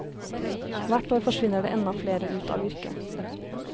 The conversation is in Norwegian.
Hvert år forsvinner det enda flere ut av yrket.